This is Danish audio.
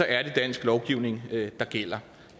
er det dansk lovgivning der gælder